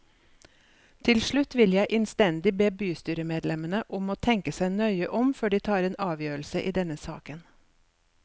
Til slutt vil jeg innstendig be bystyremedlemmene om å tenke seg nøye om før de tar en avgjørelse i denne saken.